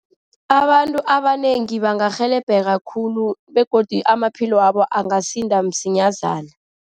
Abantu abanengi bangarhelebheka khulu, begodu amaphilo wabo angasinda msinyazana.